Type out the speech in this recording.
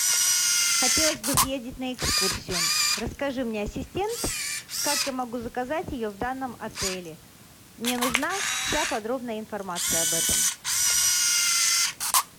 хотелось бы съездить на экскурсию расскажи мне ассистент как я могу заказать ее в данном отеле мне нужна вся подробная информация об этом